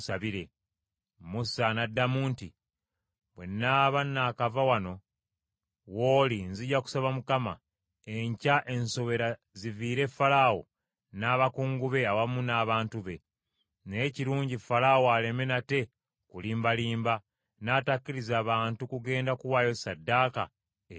Musa n’addamu nti, “Bwe nnaaba nakava wano w’oli nzija kusaba Mukama , enkya ensowera ziviire Falaawo n’abakungu be awamu n’abantu be. Naye kirungi Falaawo aleme nate kulimbalimba, n’atakkiriza bantu kugenda kuwaayo ssaddaaka eri Mukama .”